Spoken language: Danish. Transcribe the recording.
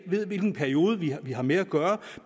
ved hvilken periode vi har vi har med at gøre